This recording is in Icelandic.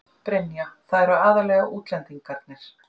Brynja: Það eru aðallega útlendingarnir?